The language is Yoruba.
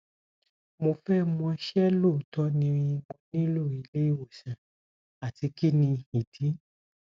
mo fe mo se loto ni mo nilo ile iwosan ati kini idi